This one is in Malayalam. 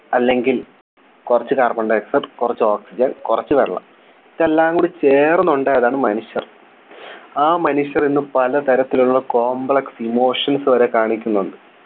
അല്ലെങ്കിൽ കുറച്ചു Carbon dioxide കുറച്ച് Oxygen കുറച്ച് വെള്ളം ഇതെല്ലാം കൂടി ചേർന്നുണ്ടായതാണ് മനുഷ്യർ ആ മനുഷ്യർ ഇന്ന് പലതരത്തിലുള്ള Complex emotions വരെ കാണിക്കുന്നുണ്ട്